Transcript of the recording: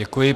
Děkuji.